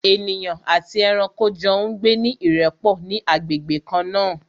Ènìyàn àti ẹranko jọ ń gbé ní ìrẹ́pọ̀ ní agbègbè kan náà